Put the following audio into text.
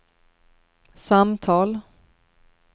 samtal